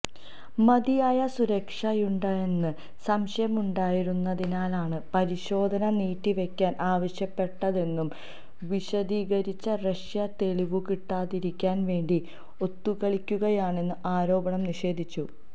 മതിയായ സുരക്ഷയുണ്ടോയെന്ന് സംശയമുണ്ടായിരുന്നതിനാലാണ് പരിശോധന നീട്ടിവെക്കാൻ ആവശ്യപ്പെട്ടതെന്നു വിശദീകരിച്ച റഷ്യ തെളിവു കിട്ടാതിരിക്കാൻ വേണ്ടി ഒത്തുകളിക്കുകയാണെന്ന ആരോപണം നിഷേധിച്ചു